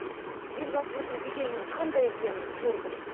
елбасымыздың беделінің қандай екенін көрдік